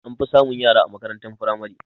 An fi samun yara a makarantar firamare